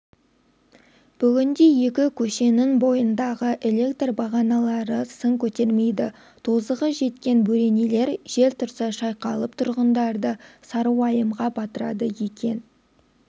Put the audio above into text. бүгінде екі көшенің бойындағы электр бағаналары сын көтермейді тозығы жеткен бөренелер жел тұрса шайқалып тұрғындарды сары уайымға батырады екен